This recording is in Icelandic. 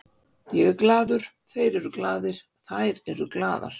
Ég er glaður, þeir eru glaðir, þær eru glaðar.